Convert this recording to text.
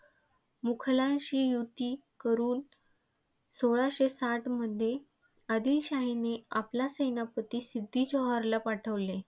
मुघलांशी युती करुन सोळाशे साठमध्ये आदिलशाहीने आपला सेनापती सिद्दी जोहरला पाठविले.